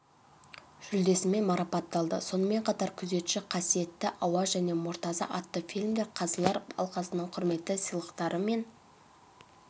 жүлдесімен марапатталды сонымен қатар күзетші қасиетті ауа және мұртаза атты фильмдер қазылар алқасының құрметті сыйлықтарымен